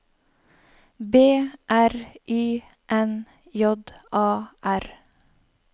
B R Y N J A R